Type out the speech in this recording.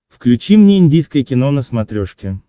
включи мне индийское кино на смотрешке